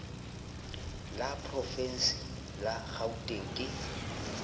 la porovense la kgauteng ke